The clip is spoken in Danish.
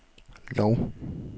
Lov